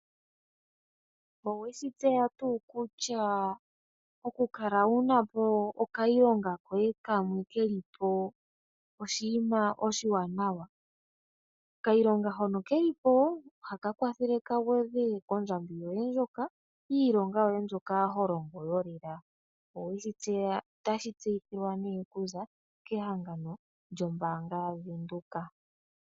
Owe shi tseya tuu kutya oku kala wu na po okayilonga koye kamwe ke li po oshinima oshi waanawa? Okayilonga hono ke li po oha ka kwathele ka gwedhe kondjambi yoye mbyoka yiilonga yoye mbyoka ho longo yolela. Ota shi tseyithilwa ne ku za kehangano lyombaanga yaVenduka.